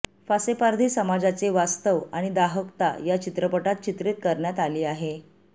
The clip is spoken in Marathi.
फासेपारधी समाजाचे वास्तव आणि दाहकता या चित्रपटात चित्रित करण्यात आली आहे